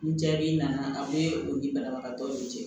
Ni jaabi nana ka bɔ u ni banabagatɔw cɛ